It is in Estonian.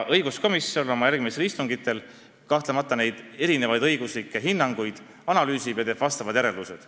Õiguskomisjon oma järgmistel istungitel kahtlemata neid erinevaid õiguslikke hinnanguid analüüsib ja teeb omad järeldused.